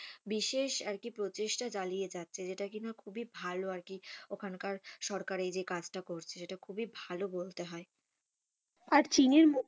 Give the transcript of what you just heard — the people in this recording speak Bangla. বিশেষ আরকি প্রচেষ্টা চালিয়ে যাচ্ছে যেটা কিনা খুবই ভালো আরকি ওখানকার সরকার এই যে কাজটা করছে সেটা খুবই ভালো বলতে হয়। আর চীনের,